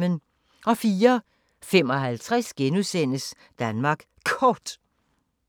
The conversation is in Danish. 04:55: Danmark Kort *